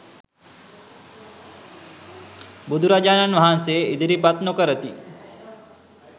බුදුරජාණන් වහන්සේ ඉදිරිපත් නොකරති.